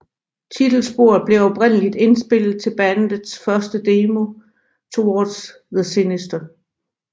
Titelsporet blev oprindelig indspillet til bandets første demo Towards the Sinister